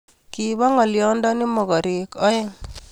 Kibo ngolyondoni mogorek oeng